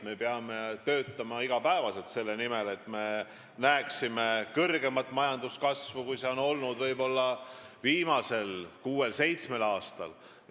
Me peame iga päev töötama selle nimel, et me näeksime kõrgemat majanduskasvu, kui see on olnud viimasel kuuel-seitsmel aastal.